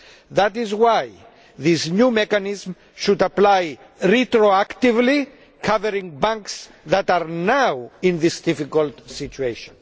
That is why this new mechanism should apply retroactively, covering banks that are now in this difficult situation.